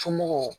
Somɔgɔw